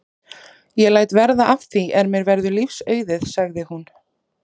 Ég læt verða af því ef mér verður lífs auðið sagði hún.